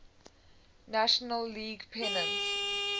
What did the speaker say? national league pennants